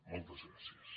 moltes gràcies